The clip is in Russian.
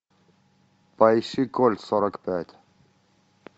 поищи кольт сорок пять